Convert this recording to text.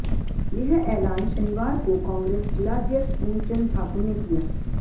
यह ऐलान शनिवार को कांग्रेस जिलाध्यक्ष पूर्ण चंद ठाकुर ने किया